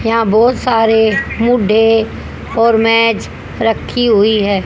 यहां बहुत सारे मुडे और मेज रखी हुई है।